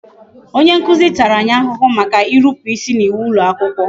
Onye nkuzi tara anyị ahụhụ maka irupu isi n'iwu ụlọakwụkwọ